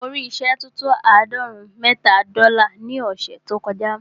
Mo rí ìṣẹ́ tó tó àádọ́rùn-ún mẹ́ta dọ́là ní ọ̀ṣẹ̀ tó kọ já.